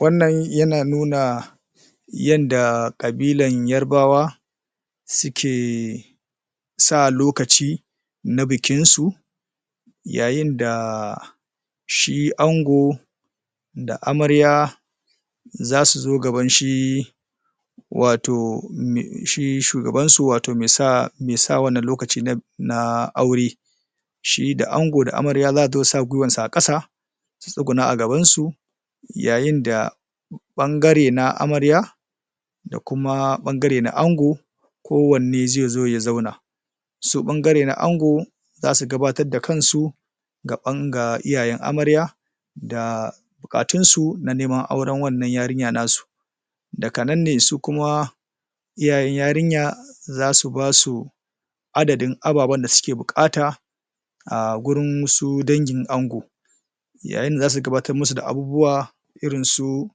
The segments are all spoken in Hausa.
wannan ya na nuna yanda kabilan yorubawa suke sa lokaci na bikin su yayin da shi ango da amarya zasu zo gaban shi watau shi shugaban su watau me sa wannan lokacin na aure shi da ango da amariya za'a ga su sa gwiwan su a kasa su sugunna a gaban su yayin da bangare na amariya da kuma bangare na ango ko wane zai zo ya zauna su bangaren na ango za su gabatar da kan su gaban ga iyayen amariya da bukatun su na neman auren wannan yarinya na su daga nan ne su kuma iyayen yarinya zasubasu adadin ababa da su ke bukata a gurin wasu dangin ango yayin da za su gabattar musu da abubuwa irin su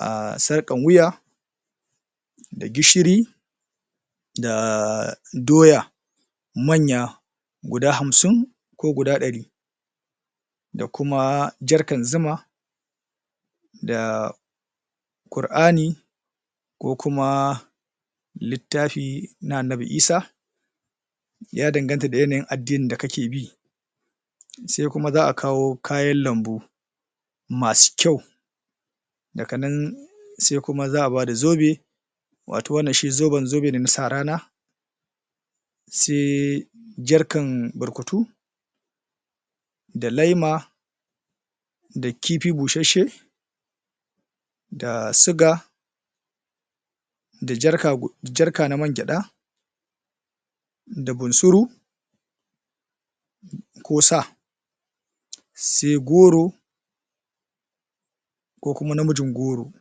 um sarkan wuya da gishiri da doya manya guda hamsin ko guda dari da kuma jerrycan zuma da Qu'rani ko kuma littafi na annabi Isah ya danganta da yanayin adinnin da kake bi sai kuma za'a kawo kayan lambu masu kyau daganan sai kuma za'a ba da zobe watau wannan zobe shi ne zoben sa rana saijerrycan burkutu da lema da kifi busheshe da suga da jerrycan na mai gyada da bunsuru ko sa'a sai goro ko kuma namijin goro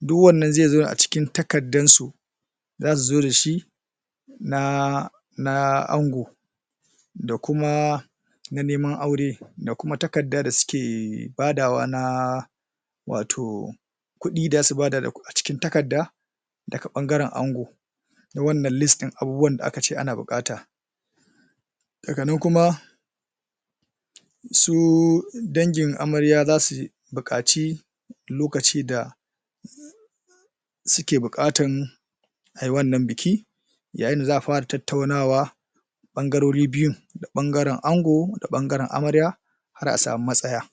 duk wannan zai zauna a cikin takkadan su za su zo da shi na ango da kuma na neman aure da kuma takkada da suke badawa na wato kudi da zasu bada a cikin takkada daga bangaren ango na wannan list din abubuwa da aka bukata daga nan kuma su dangin amarya za su bukaci lokaci da suke bukata a yi wannan biki yayin da za'a fara tattaunawa bangarori biyu da bangaren ango da bangaren amarya